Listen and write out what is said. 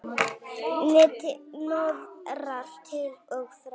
Nettir hnoðrar til og frá.